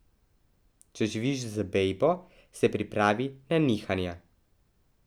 Če živiš z bejbo, se pripravi na nihanja.